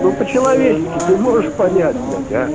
ну по-человечески ты можешь понять блять а